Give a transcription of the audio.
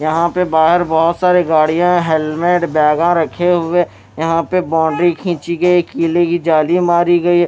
यहां पे बाहर बहुत सारे गाड़ियां हेलमेट बैगा रखे हुए यहां पे बाउंड्री खींची गई कीले की जाली मारी गई---